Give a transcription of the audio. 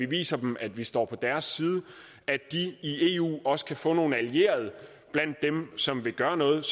viser dem at vi står på deres side at de i eu også kan få nogle allierede blandt dem som vil gøre noget